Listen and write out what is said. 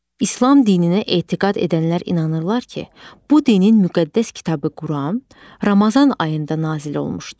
İslam dininə etiqad edənlər inanırlar ki, bu dinin müqəddəs kitabı Quran Ramazan ayında nazil olmuşdur.